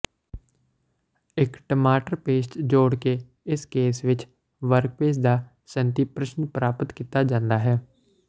ਇੱਕ ਟਮਾਟਰ ਪੇਸਟ ਜੋੜ ਕੇ ਇਸ ਕੇਸ ਵਿੱਚ ਵਰਕਪੇਸ ਦਾ ਸੰਤ੍ਰਿਪਸ਼ਨ ਪ੍ਰਾਪਤ ਕੀਤਾ ਜਾਂਦਾ ਹੈ